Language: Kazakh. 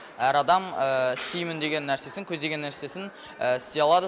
әр адам істимін деген нәрсесін көздеген нәрсесін істей алады